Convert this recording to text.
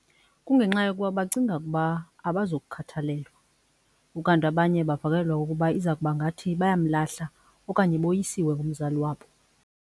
Kungenxa yokuba bacinga ukuba abazukukhathalelwa ukanti abanye bavakalelwa ukuba iza kuba ngathi bayamlahla okanye boyisiwe ngumzali wabo.